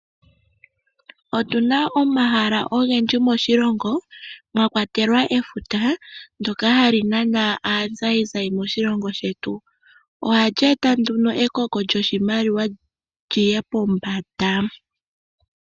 Otuna omahala ogendji moshilongo mwa kwatelwa efuta ndoka hali nana aazayizayi moshilongo shetu, ohali eta nduno ekoko lyoshimaliwa liye pombanda.